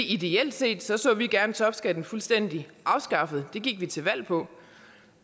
ideelt set så så vi gerne topskatten fuldstændig afskaffet og det gik vi til valg på